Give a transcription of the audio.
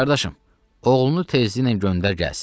Qardaşım, oğlunu tezliklə göndər gəlsin.